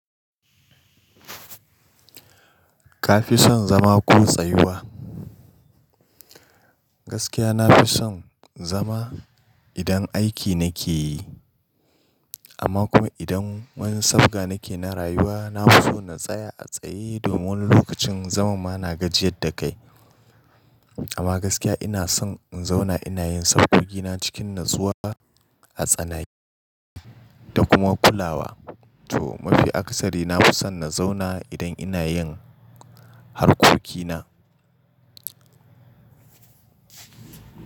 Kafi son zama ko tsayuwa? Gaskiya nafi son zama idan aiki nake yi, amma kuma idan wani safga nake na rayuwa, nafi so na tsaya a tsaye domin wani lokacin zaman ma na gajiyar da kai. Amma gaskiya ina son in zauna ina yin sabgogina cikin natsuwa a tsanake da kuma kulawa. To mafi akasari nafi son na zauna idan ina yin harkokina.